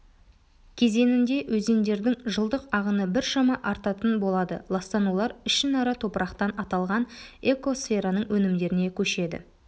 кезеңінде өзендердің жылдық ағыны біршама артатын болады ластанулар ішінара топырақтан аталған экосфераның өнімдеріне көшеді